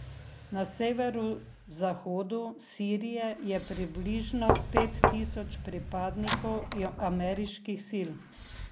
Na severozahodu Sirije je približno pet tisoč pripadnikov ameriških sil.